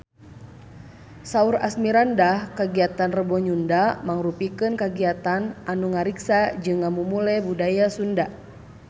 Saur Asmirandah kagiatan Rebo Nyunda mangrupikeun kagiatan anu ngariksa jeung ngamumule budaya Sunda